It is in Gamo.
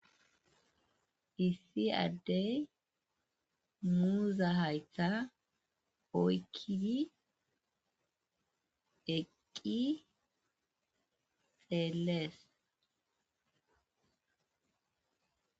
issi addey muuza haytha oykkidi eqqi xeelees